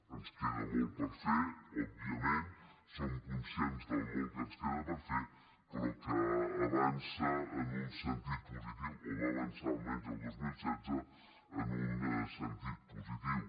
ens queda molt per fer òbviament som conscients del molt que ens queda per fer però que avança en un sentit positiu o va avançar almenys el dos mil setze en un sentit positiu